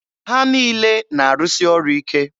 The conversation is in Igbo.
Ha niile na-arụsị ọrụ ike.